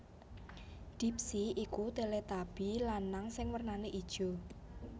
Dipsy iku Teletubby lanang sing warnané ijo